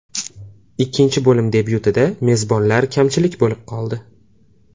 Ikkinchi bo‘lim debyutida mezbonlar kamchilik bo‘lib qoldi.